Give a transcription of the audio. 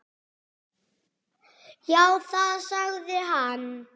Já, það sagði hann.